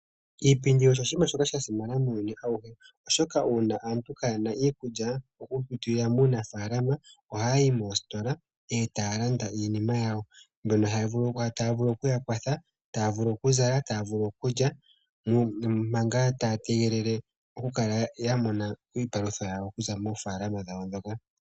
Iipindi osho oshiima shoka shasimana muuyuni awuhe oshoka uuna aantu kaayena iikulya mokupitila muunafaalama ohayi moostola etaya landa iinima yawo mbyono tayi vulu okuya kwatha taavulu okuzala , taavulu okulya manga taa tegelele oku mona iipalutha yawo okuza moofaalama dhawo ndhoka